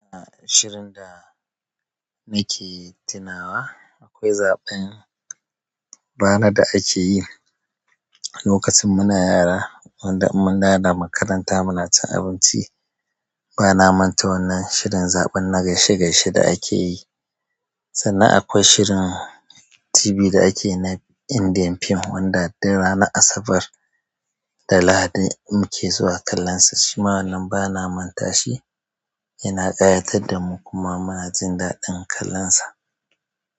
A shirin da nake tunawa akwai zaɓen bana da akeyi. Lokacin muna yara, wanda in mundawo makaranta muna cin abinci bana manta wannan shirin zaɓen na gaishe-gaishe da akeyi. Sannan akwai shirin tibi da ake na Indian fim, wanda dur ranar Asabar da Lahadi muke zuwa kallonsa. Shima wannan bana manta shi, yana ƙayatar da mu kuma munajin daɗin kallonsa.